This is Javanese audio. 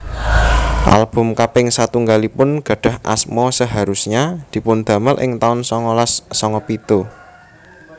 Album kaping satunggalipun gadhah asma Seharusnya dipundamel ing taun songolas songo pitu